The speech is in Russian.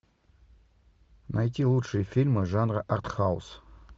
найти лучшие фильмы жанра арт хаус